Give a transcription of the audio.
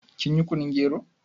Kin yi kunun gero?